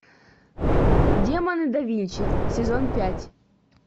демоны да винчи сезон пять